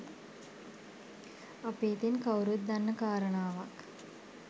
අපි ඉතින් කවුරුත් දන්න කාරණාවක්